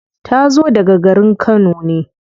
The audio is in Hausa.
Ta zo daga garin kano ne.